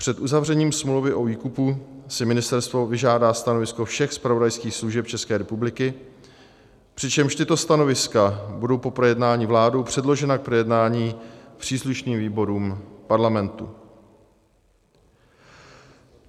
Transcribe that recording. Před uzavřením smlouvy o výkupu si ministerstvo vyžádá stanovisko všech zpravodajských služeb České republiky, přičemž tato stanoviska budou po projednání vládou předložena k projednání příslušným výborům Parlamentu."